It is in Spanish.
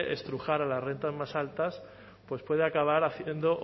estrujar a las rentas más altas pues puede acabar haciendo o